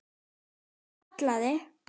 Hann kallaði